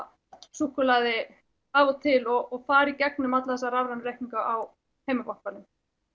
súkkulaði af og til og fara í gegnum alla þessa rafrænu reikninga á heimabankanum